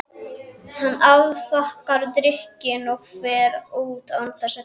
Hann afþakkar drykkinn og fer út án þess að kveðja.